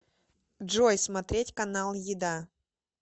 джой смотреть канал еда